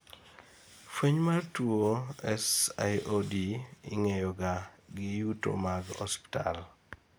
fweny mar tuwo SIOD ing'eyoga gi yuto mag ospital